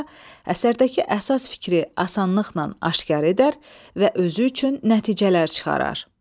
əsərdəki əsas fikri asanlıqla aşkar edər və özü üçün nəticələr çıxarar.